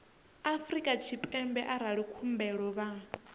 afrika tshipembe arali khumbelo vha